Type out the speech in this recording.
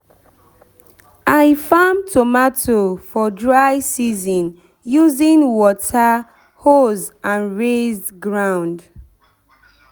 i farm tomato for dry season using water hose and raised ground.